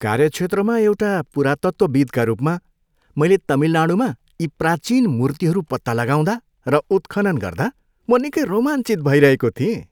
कार्यक्षेत्रमा एउटा पुरातत्त्वविद्का रूपमा, मैले तलिम नाडुमा यी प्राचीन मुर्तिहरू पत्ता लगाउँदा र उत्खनन् गर्दा म निकै रोमाञ्चित भइरहेको थिएँ।